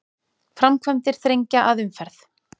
Framkvæmdir þrengja að umferð